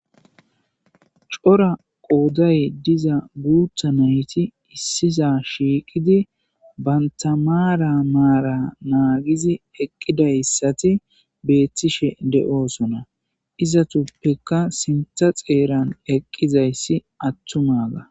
cora qooday diza guutha nayti issiza shiiqidi bantamaara maara naagizi eqqidayssati beethtishe de7oosona izatuppeka sintha xeeran eqqizayssi attuma ga